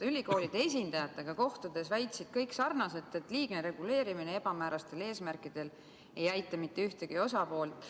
Ülikoolide esindajatega kohtumisel väitsid kõik sarnaselt, et liigne reguleerimine ebamäärastel eesmärkidel ei aita mitte ühtegi osapoolt.